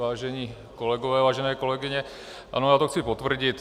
Vážení kolegové, vážené kolegyně, ano, já to chci potvrdit.